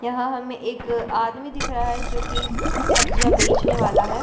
यहाँ हमे एक आदमी दिख रहा हैजो की सब्जियाँ बेचने वाला है।